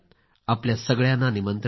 आपल्या सगळ्यांना निमंत्रण आहे